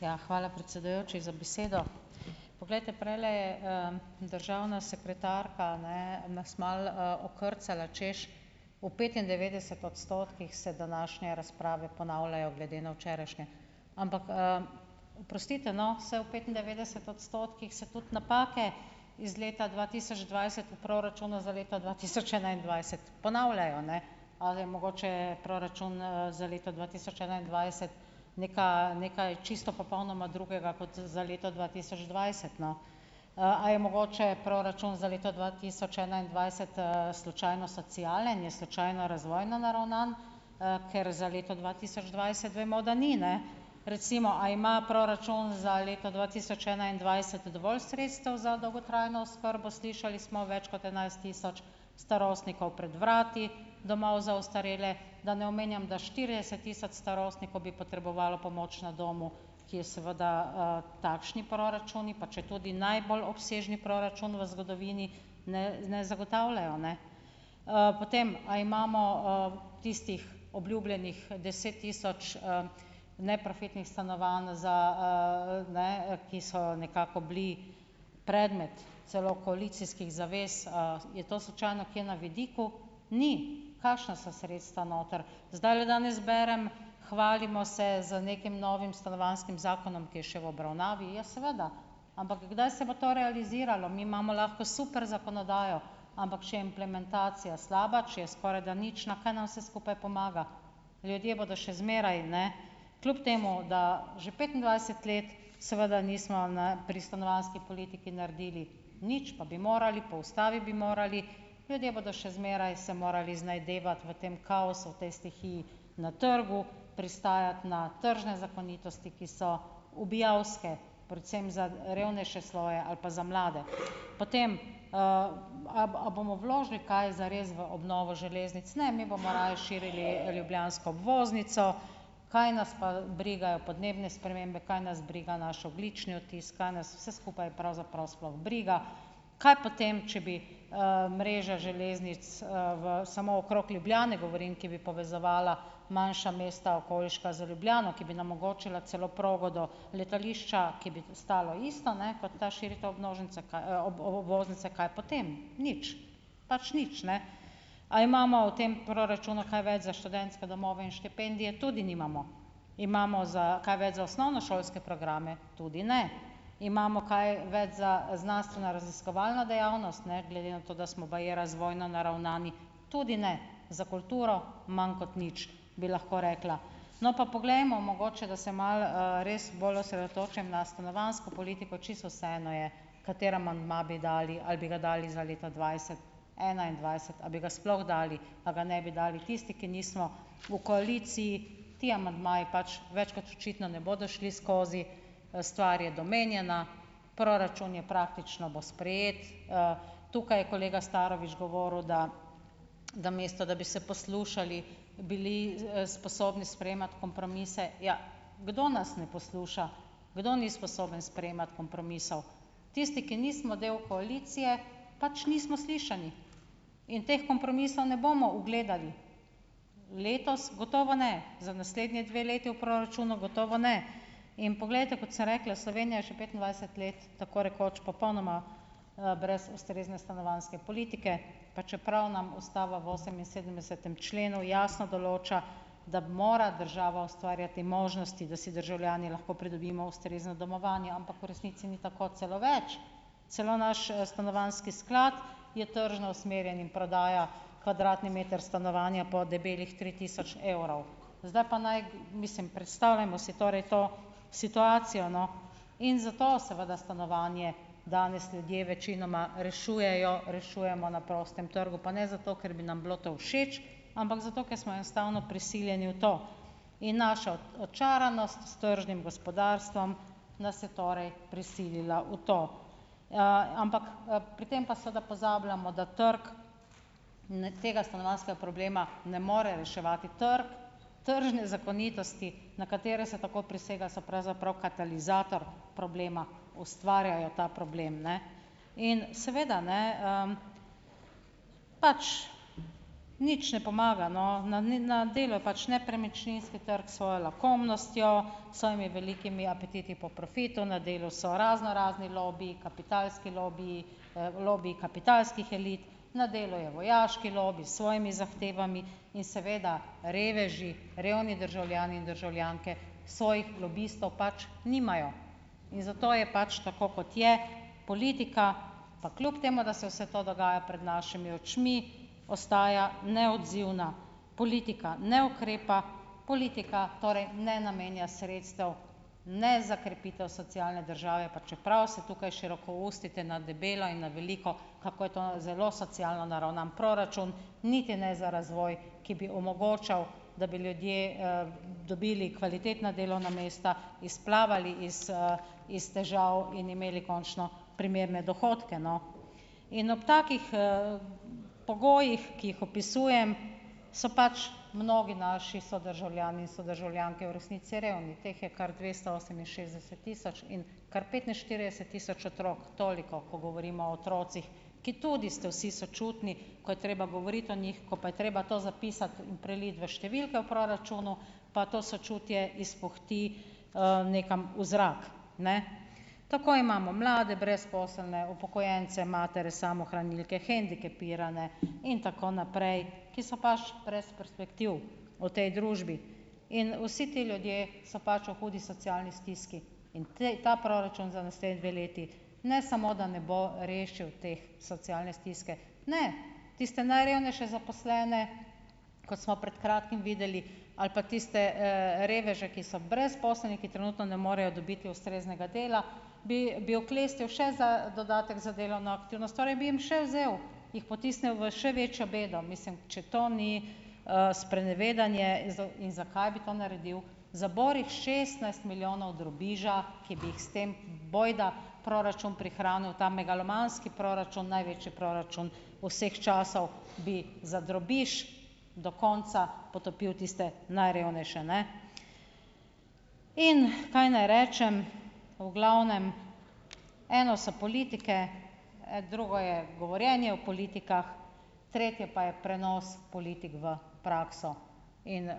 Ja, hvala predsedujoči za besedo, poglejte prejle, državna sekretarka, ne nas malo, okrcala, češ, v petindevetdeset odstotkih se današnje razprave ponavljajo glede na včerajšnje, ampak, oprostite, no, saj v petindevetdeset odstotkih se tudi napake iz leta dva tisoč dvajset proračuna za leto dva tisoč enaindvajset ponavljajo, ne, ali je mogoče proračun, za leto dva tisoč enaindvajset nekaj nekaj čisto popolnoma drugega kot za leto dva tisoč dvajset, no, a je mogoče proračun za leto dva tisoč enaindvajset, slučajno socialen, je slučajno razvojno naravnan? ker za leto dva tisoč dvajset vemo, da ni, ne, recimo, a ima proračun za leto dva tisoč enaindvajset dovolj sredstev za dolgotrajno oskrbo? Slišali smo: več kot enajst tisoč starostnikov pred vrati domov za ostarele, da ne omenjam, da štirideset tisoč starostnikov bi potrebovalo pomoč na domu, ki je seveda, takšni proračuni, pa četudi najbolj obsežni proračun v zgodovini, ne ne zagotavljajo, ne, potem, a imamo, tistih obljubljenih deset tisoč, neprofitnih stanovanj za, ne, ki so nekako bili predmet celo koalicijskih zavez, je to slučajno kje na vidiku? Ni. Kakšna so sredstva noter, zdajle danes berem, hvalimo se z nekim novim stanovanjskim zakonom, ki je še v obravnavi, ja, seveda, ampak kdaj se bo to realiziralo, mi imamo lahko super zakonodajo ampak če je implementacija slaba, če je skorajda nič, na kaj nam vse skupaj pomaga, ljudje bodo še zmeraj, ne, kljub temu da že petindvajset let seveda nismo, ne, pri stanovanjski politiki naredili nič, pa bi morali, po ustavi bi morali, ljudje bodo še zmeraj se morali znajdevati v tem kaosu, v tej stihiji na trgu, pristajati na tržne zakonitosti, ki so ubijalske, predvsem za revnejše sloje ali pa za mlade, potem, a a bomo vložili kaj zares v obnovo železnic, ne, mi bomo raje širili ljubljansko obvoznico, kaj nas pa brigajo podnebne spremembe, kaj nas briga naš ogljični odtis, kaj nas vse skupaj pravzaprav sploh briga, kaj potem če bi, mreže železnic, v samo okrog Ljubljane govorim, ki bi povezovala manjša mesta okoliška z Ljubljano, ki nam omogočila celo progo do letališča, ki bi to stalo isto, ne, kot ta širitev obvoznice, kaj, obvoznice, kaj potem. Nič, pač nič, ne, a imamo v tem proračunu kaj več za študentske domove in štipendije? Tudi nimamo. Imamo za kaj več za osnovnošolske programe? Tudi ne. Imamo kaj več za znanstvenoraziskovalno dejavnost ne glede na to, da smo baje razvojno naravnani? Tudi ne. Za kulturo manj kot nič, bi lahko rekla, no, pa poglejmo, mogoče, da se malo, res bolj osredotočim na stanovanjsko politiko. Čisto vseeno je, kateri amandma bi dali, ali bi ga dali za leto dvajset, enaindvajset, a bi ga sploh dali, a ga ne bi dali. Tisti, ki nismo v koaliciji, ti amandmaji pač več kot očitno ne bodo šli skozi, stvar je domenjena, proračun je praktično, bo sprejet, tukaj je kolega Starovič govoril, da namesto da bi se poslušali, bili, sposobni sprejemati kompromise. Ja, kdo nas ne posluša, kdo ni sposoben sprejemati kompromisov? Tisti, ki nismo del koalicije, pač nismo slišani in teh kompromisov ne bomo ugledali, letos gotovo ne, za naslednji dve leti v proračunu gotovo ne, in poglejte, kot sem rekla, Slovenija je že petindvajset let tako rekoč popolnoma, brez ustrezne stanovanjske politike, pa čeprav nam ustava v oseminsedemdesetem členu jasno določa, da mora država ustvarjati možnosti, da si državljani lahko pridobimo ustrezno domovanje, ampak v resnici ni tako, celo več, celo naš stanovanjski sklad je tržno usmerjen in prodaja kvadratni meter stanovanja po debelih tri tisoč evrov. Zdaj pa naj, mislim, predstavljajmo si torej to situacijo, no, in zato seveda stanovanje danes ljudje večinoma rešujejo, rešujemo na prostem trgu, pa ne zato, ker bi nam bilo to všeč, ampak zato, ker smo enostavno prisiljeni v to, in naša očaranost tržnim gospodarstvom nas je torej prisilila v to, ampak, pri tem pa seveda pozabljamo, da trg ne tega stanovanjskega problema ne more reševati, trg tržne zakonitosti, na katere se tako prisega, so pravzaprav katalizator problema, ustvarjajo ta problem, ne, in seveda, ne, pač nič ne pomaga, no, na, ni na delu pač nepremičninski trg svojo lakomnostjo, svojimi velikimi apetiti po profitu, na delu so raznorazni lobiji, kapitalski lobiji, lobiji kapitalskih elit, na delu je vojaški lobi s svojimi zahtevami, in seveda reveži revni državljani in državljanke svojih lobistov pač nimajo in zato je pač tako, kot je, politika pa kljub temu, da se vse to dogaja pred našimi očmi, ostaja neodzivna, politika ne ukrepa, politika torej ne namenja sredstev ne za krepitev socialne države, pa čeprav se tukaj širokoustite na debelo in na veliko, kako je to zelo socialno naravnan proračun, niti ne za razvoj, ki bi omogočal, da bi ljudje, dobili kvalitetna delovna mesta, izplavali iz, iz težav in imeli končno primerne dohodke, no, in ob takih, pogojih, ki jih opisujem, so pač mnogi naši sodržavljani, sodržavljanke v resnici revni, teh je kar dvesto oseminšestdeset tisoč in kar petinštirideset tisoč otrok. Toliko, ko govorimo o otrocih, ki tudi ste vsi sočutni, ko je treba govoriti o njih, ko pa je treba to zapisati, preliti v številke v proračunu, pa to sočutje izpuhti, nekam v zrak, ne, tako imamo mlade brezposelne, upokojence, matere samohranilke, hendikepirane in tako naprej, ki so baš brez perspektiv v tej družbi, in vsi ti ljudje so pač v hudi socialni stiski in ta proračun za naslednji dve leti ne samo, da ne bo rešil teh socialnih stisk, ne, tiste najrevnejše zaposlene, ko smo pred kratkim videli, ali pa tiste, reveže, ki so brezposelni, ki trenutno ne morejo dobiti ustreznega dela, bi bi oklestil še za dodatek za delovno aktivnost, torej bi jim še vzel, jih potisne v še večjo bedo, mislim, če to ni, sprenevedanje. In in zakaj bi to naredil? Za borih šestnajst milijonov drobiža, ki bi jih s tem bojda proračun prehranil, ta megalomanski proračun, največji proračun vseh časov bi za drobiž do konca potopil tiste najrevnejše, ne, in kaj naj rečem, v glavnem eno so politike, drugo je govorjenje o politikah, tretje pa je prenos politik v prakso in,